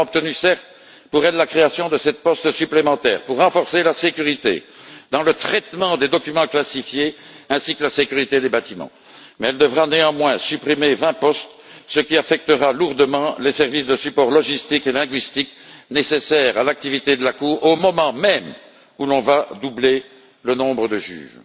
Nous avons certes obtenu, pour elle, la création de sept postes supplémentaires pour renforcer la sécurité dans le traitement des documents classifiés, ainsi que la sécurité des bâtiments, mais elle devra néanmoins supprimer vingt postes, ce qui affectera lourdement les services de support logistique et linguistique nécessaires à l'activité de la Cour, au moment même où l'on va doubler le nombre de juges.